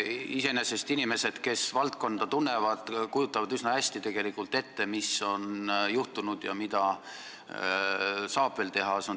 Iseenesest inimesed, kes valdkonda tunnevad, kujutavad tegelikult üsna hästi ette, mis on juhtunud ja mida saab veel teha.